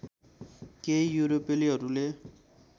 केही युरोपेलीहरूले